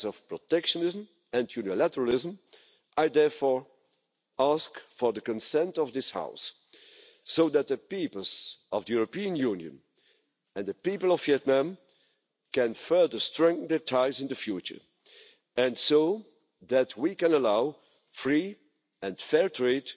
protectionism and unilateralism, I therefore ask for the consent of this House so that the peoples of the European Union and the people of Vietnam can further strengthen their ties in the future and so that we can allow free and fair trade